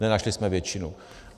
Nenašli jsme většinu.